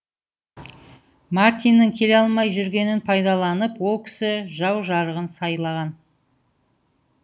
мартиннің келе алмай жүргенін пайдаланып ол кісі жау жарағын сайлаған